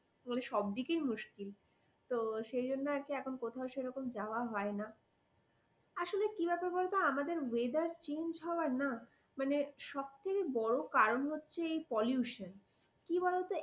সবদিকেই মুশকিল তো সেজন্য আর কি এখন কোথাও সেভাবে যাওয়া হয় না আসলে কি ব্যাপার বলতো আমাদের weather change হবার না মানে সব থেকে বড় কারণ হচ্ছে এই pollution । কি বলতো